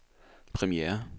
premiere